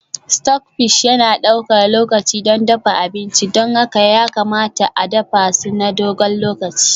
Stockfish yana ɗaukar lokaci don dafa abinci, don haka ya kamata a dafa su na dogon lokaci.